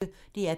DR P1